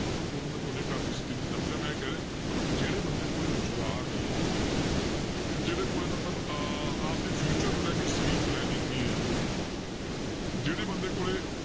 ਮਤਲਬ ਤੁਹਾਨੂੰ ਮੈਂ ਤੁਹਾਡੇ ਘਰ ਦੀ ਦੱਸ ਰਿਹਾਂ ਮੈਂ ਇਹ ਕਹਿ ਰਿਹਾਂ ਮਤਲਬ ਜਿਹੜੇ ਬੰਦੇ ਕੋਲੇ ਰੁਜ਼ਗਾਰ ਨੀ ਹੈ ਜਿਹੜੇ ਕੋਲੇ ਮਤਲਬ ਅਹ ਆਪਦੇ future ਨੂੰ ਲੈ ਕੇ ਸਹੀ planning ਨੀ ਹੈ ਜਿਹੜੇ ਬੰਦੇ ਕੋਲੇ